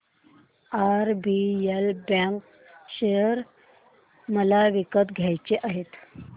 RBL bank share मला विकत घ्यायचे आहेत